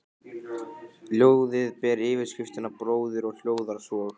Ljóðið ber yfirskriftina BRÓÐIR og hljóðar svo